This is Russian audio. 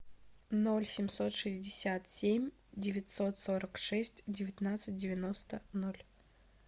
ноль семьсот шестьдесят семь девятьсот сорок шесть девятнадцать девяносто ноль